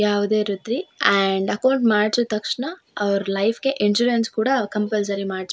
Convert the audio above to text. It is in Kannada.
ಯಾವುದೆ ರೀತಿ ಏಂಡ್ ಅಕೌಂಟ್ ಮಾಡ್ಸಿದ್ ತಕ್ಷಣ ಅವ್ರ ಲೈಫಿಗೆ ಇನ್ಸ್ಶ್ಯುರೆನ್ಸ್ ಕೂಡ ಕಂಪಲ್ಸರಿ ಮಾಡ್ಸ್ --